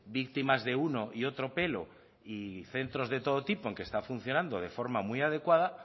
víctimas de uno y otro pelo y centros de todo tipo en que está funcionando de forma muy adecuada